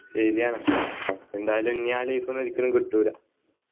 ശരിയാണ് ന്തായാലും നി ആ life ഒന്നും ഒരിക്കലും കിട്ടൂല